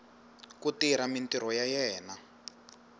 ku tirha mintirho ya yena